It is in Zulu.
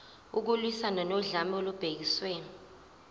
ukulwiswana nodlame olubhekiswe